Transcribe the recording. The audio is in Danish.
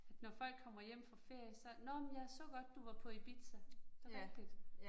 Når folk kommer hjem fra ferie så, nåh men jeg så godt du var på Ibiza. Det rigtigt